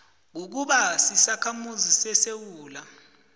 kukuba sisakhamuzi sesewula